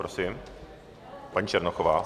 Prosím, paní Černochová.